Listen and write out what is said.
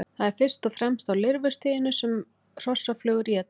Það er fyrst og fremst á lirfustiginu sem hrossaflugur éta.